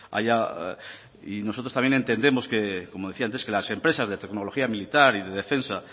allá y nosotros también entendemos como decía antes que las empresas de tecnología militar y de defensa